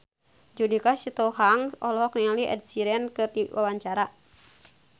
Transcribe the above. Judika Sitohang olohok ningali Ed Sheeran keur diwawancara